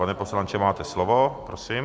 Pane poslanče, máte slovo, prosím.